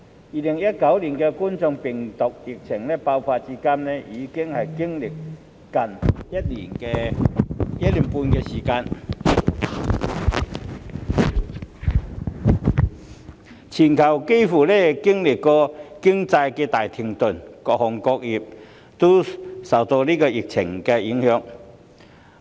2019冠狀病毒病疫情爆發至今，已經歷接近1年半的時間，其間全球經濟幾乎大停頓，各行各業也受疫情影響。